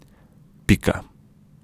Pika.